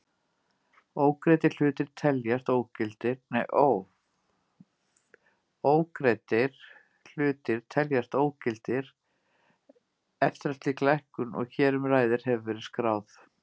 Ógreiddir hlutir teljast ógildir eftir að slík lækkun og hér um ræðir hefur verið skráð.